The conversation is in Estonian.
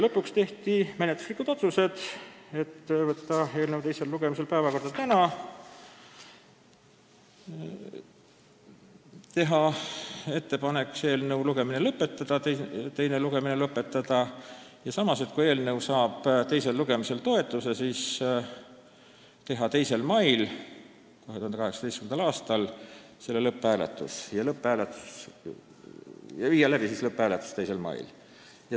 Lõpuks tehti menetluslikud otsused: võtta eelnõu teine lugemine tänasesse päevakorda, teha ettepanek eelnõu teine lugemine lõpetada ja kui eelnõu saab teisel lugemisel toetuse osaliseks, viia 2. mail 2018. aastal läbi selle eelnõu lõpphääletus.